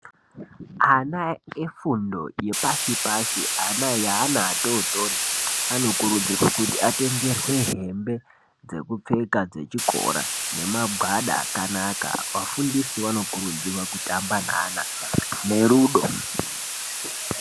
Ana efundo yepashi pashi ana yeana atotori anokurudzirwa kuti atengerwe hembe dzekupfeka dzechikora nemagwada akanaka vafundisi vanokurudzirwa kutamba neana nerudo.